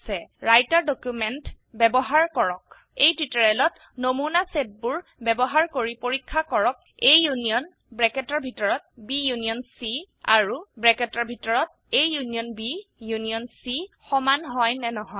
writer document বয়ৱহাৰ কৰক এই টিউটোৰিয়েলত নমুনা সেটবোৰ ব্যবহাৰ কৰি পৰীক্ষা কৰক A ইউনিয়ন আৰু ইউনিয়ন C সমান হয় নে নহয়